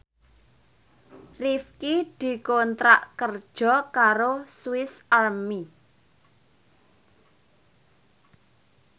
Rifqi dikontrak kerja karo Swis Army